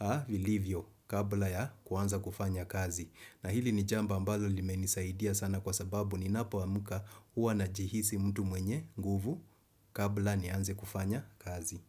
a vilivyo kabla ya kuanza kufanya kazi. Na hili ni jambo ambalo limenisaidia sana kwa sababu ninapoamka huwa najihisi mtu mwenye nguvu kabla nianze kufanya kazi.